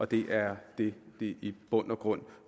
det er det det i bund og grund